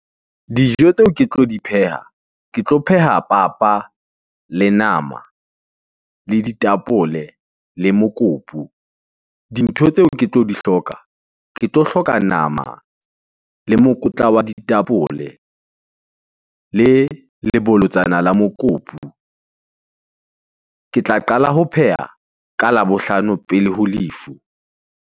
Dijo tseo ke tlo di pheha, ke tlo pheha papa, le nama, le ditapole le mokopu. Dintho tseo ke tlo di hloka ke tlo hloka nama, le mokotla wa ditapole le lebolotsana la mokopu. Ke tla qala ho pheha ka Labohlano pele ho lefu.